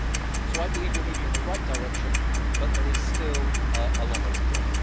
So I believe we are moving in the right direction, but there is still a long way to go.